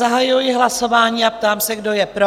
Zahajuji hlasování a ptám se, kdo je pro?